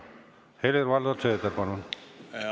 Helir-Valdor Seeder, palun!